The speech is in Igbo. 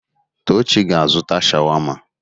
Tochi ga-azụta sháwámá.